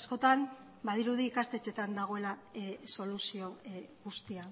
askotan badirudi ikastetxeetan dagoela soluzio guztia